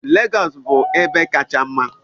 Lagos bụ ebe kacha mma.